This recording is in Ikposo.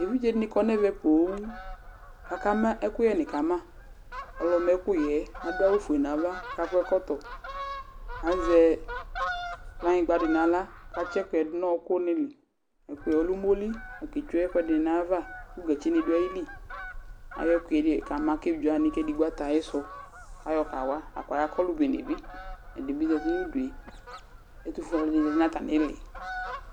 eʋɩɗje ɛɗɩnɩ aƙɔ nʊ ɛmɛ poo, aƙama ɛƙʊƴɛ ƙama ɛƙʊƴɛ manɩɛ aɗʊ awʊ oƒʊe nu aʋa, aƙɔ ɛƙɔtɔ azɛ ƙplanŋɩgɓa nʊ ahla aɗʊ ɛƙʊƴɛ nʊ ɔƙʊ nɩlɩ ama ɛƙʊƴɛ ɔlʊ ɛɗɩ nʊ ɛɗɩ atɛ aƴɩsʊ ɔlʊɛɗɩɓɩza nʊ aƴɩɗʊ ɛtʊƒʊe alʊwanɩ azatɩnʊ atamɩɗʊ